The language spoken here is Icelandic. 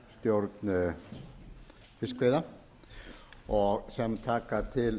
um stjórn fiskveiða sem taka til